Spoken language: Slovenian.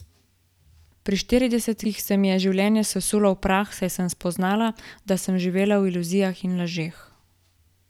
Pri štiridesetih se mi je življenje sesulo v prah, saj sem spoznala, da sem živela v iluzijah in lažeh.